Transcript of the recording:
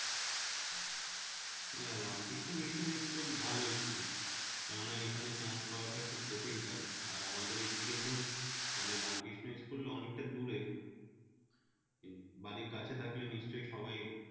Ramakrishna mission school ভালো school কেননা এখানে chance পাওয়া টা খুব কঠিন কাজ আর আমাদের এইদিকে তো মানে রামকৃষ্ণ school অনেকটা দূরে বাড়ির কাছে থাকলে নিশ্চয় সবাই